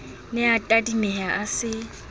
ne a tadimeha a se